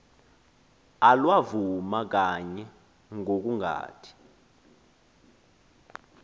alwavuma kanye ngokungathi